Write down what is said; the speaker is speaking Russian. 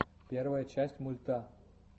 первая часть мульта